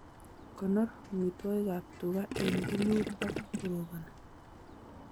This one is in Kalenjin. Konor amitwokikab tuga eng kemeut ak koroboni